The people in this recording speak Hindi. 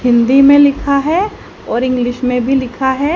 हिंदी में लिखा है और इंग्लिश में भी लिखा है --